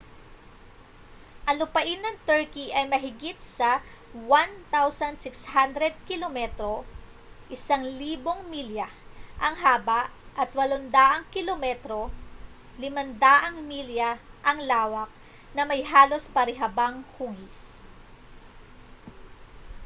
ang lupain ng turkey ay mahigit sa 1,600 kilometro 1,000 mi ang haba at 800 km 500 mi ang lawak na may halos parihabang hugis